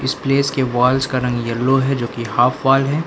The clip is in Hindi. इस प्लेस के वॉल्स का रंग येलो है जोकि हाफ वॉल है।